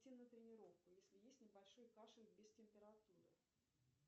идти на тренировку если есть небольшой кашель без температуры